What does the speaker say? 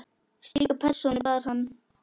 Slíka persónu bar hann.